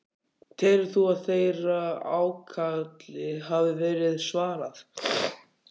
Telur þú að þeirra ákalli hafi verið svarað?